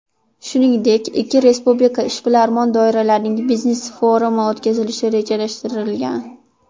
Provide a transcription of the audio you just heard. Shuningdek, ikki respublika ishbilarmon doiralarining biznes-forumi o‘tkazilishi rejalashtirilgan.